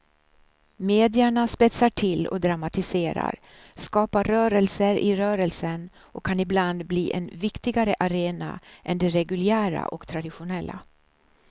Medierna spetsar till och dramatiserar, skapar rörelser i rörelsen och kan ibland bli en viktigare arena än de reguljära och traditionella.